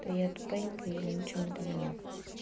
то я тупенька и ничего не поняла